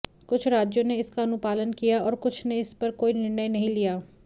कुछ राज्यों ने इसका अनुपालन किया और कुछ ने इस पर कोई निर्णय नहीं लिया